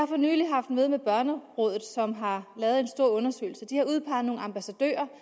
for nylig haft møde med børnerådet som har lavet en stor undersøgelse de har udpeget nogle ambassadører